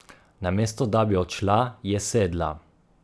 Namesto da bi odšla, je sedla.